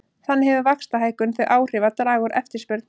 Þannig hefur vaxtahækkun þau áhrif að draga úr eftirspurn.